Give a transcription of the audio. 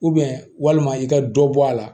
walima i ka dɔ bɔ a la